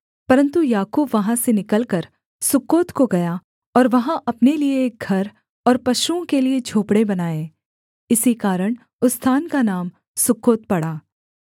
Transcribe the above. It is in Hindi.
परन्तु याकूब वहाँ से निकलकर सुक्कोत को गया और वहाँ अपने लिये एक घर और पशुओं के लिये झोंपड़े बनाए इसी कारण उस स्थान का नाम सुक्कोत पड़ा